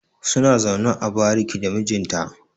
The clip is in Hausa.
suna zaune a bariki da mijinta